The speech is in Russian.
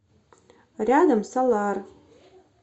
рядом солар